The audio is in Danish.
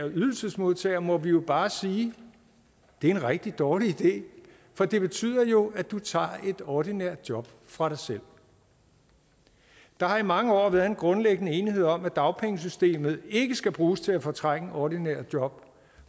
ydelsesmodtager må vi jo bare sige det er en rigtig dårlig idé for det betyder jo at du tager et ordinært job fra dig selv der har i mange år været en grundlæggende enighed om at dagpengesystemet ikke skal bruges til at fortrænge ordinære job og